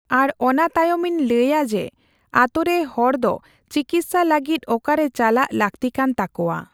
ᱟᱨ ᱚᱱᱟᱛᱟᱭᱚᱢᱤᱧ ᱞᱟᱹᱭᱟ ᱡᱮᱹ ᱟᱛᱳᱨᱮ ᱦᱚᱲᱫᱚ ᱪᱤᱠᱤᱛᱥᱟ ᱞᱟᱹᱜᱤᱫ ᱚᱠᱟᱨᱮ ᱪᱟᱞᱟᱜ ᱞᱟᱹᱠᱛᱤᱠᱟᱱ ᱛᱟᱠᱚᱣᱟ ᱾